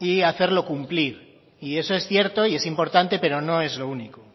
y hacerlo cumplir y eso es cierto y es importante pero no es lo único